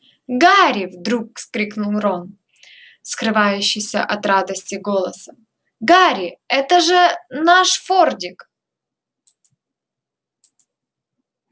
гарри вдруг вскрикнул рон скрывающийся от радости голоса гарри это же наш фордик